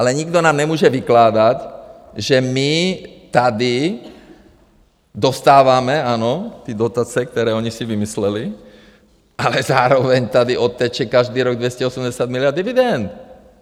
Ale nikdo nám nemůže vykládat, že my tady dostáváme, ano, ty dotace, které oni si vymysleli, ale zároveň tady odteče každý rok 280 miliard dividend.